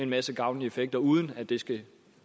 masse gavnlige effekter uden at de skal